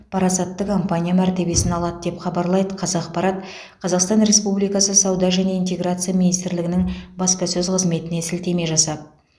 парасатты компания мәртебесін алады деп хабарлайды қазақпарат қазақстан республикасы сауда және интеграция министрлігінің бапасөз қызметіне сілтеме жасап